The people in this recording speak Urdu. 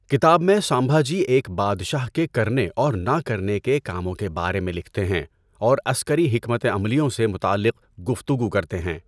کتاب میں سمبھاجی ایک بادشاہ کے کرنے اور نہ کرنے کے کاموں کے بارے میں لکھتے ہیں اور عسکری حکمت عملیوں سے متعلق گفتگو کرتے ہیں۔